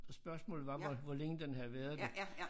Og spørgsmålet var hvor hvor længe den havde været det